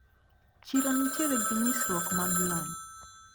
Chiro nitiere gi nyisruok mag lony.